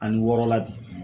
Ani wɔɔrɔ la bi